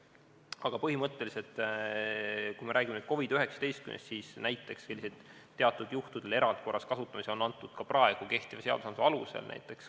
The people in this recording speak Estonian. Aga põhimõtteliselt, kui me räägime nüüd COVID-19-st, siis selliseid teatud juhtudel erandkorras kasutamisi on toodud ka kehtiva õigusnormistiku alusel näiteks.